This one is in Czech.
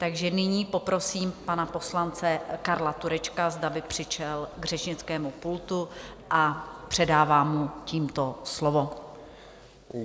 Takže nyní poprosím pana poslance Karla Turečka, zda by přišel k řečnickému pultu, a předávám mu tímto slovo.